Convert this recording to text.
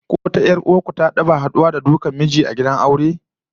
Ko wata 'yar gidan ku ta taba haduwa da dukan miji a gidan aure?